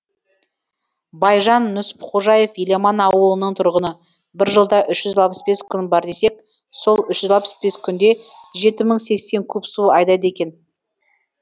байжан нүсіпхожаев еламан ауылының тұрғыны бір жылда үш жүз алпыс бес күн бар десек сол үш жүз алпыс бес күнде жеті мың жексен куб су айдайды екен